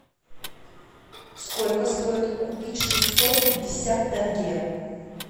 сколько стоит купить шестьсот пятьдесят тенге